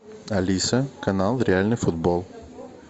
алиса канал реальный футбол